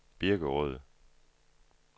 Birkerød